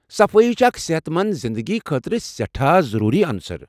صفٲیی چھےٚ اکھ صحت منٛد زنٛدگی خٲطرٕ سیٹھاہ ضروٗری انصر۔